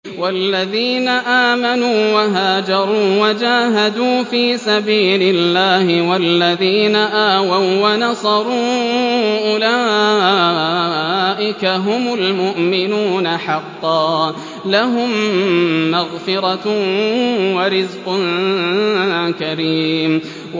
وَالَّذِينَ آمَنُوا وَهَاجَرُوا وَجَاهَدُوا فِي سَبِيلِ اللَّهِ وَالَّذِينَ آوَوا وَّنَصَرُوا أُولَٰئِكَ هُمُ الْمُؤْمِنُونَ حَقًّا ۚ لَّهُم مَّغْفِرَةٌ وَرِزْقٌ كَرِيمٌ